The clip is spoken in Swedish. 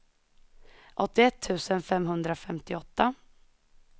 åttioett tusen femhundrafemtioåtta